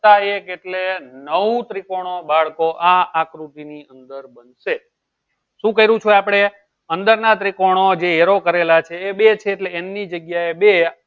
એક એટલે નવું ત્રિકોણો બાળકો આ આકૃતિની અંદર બનશે શું કરશું આપડે અંદર ના ત્રીકોણો જે arrow કરેલા છે એ બે છે એટલે એમની જગ્યાએ બે